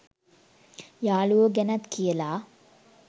යාළුවො ගැනත් කියලා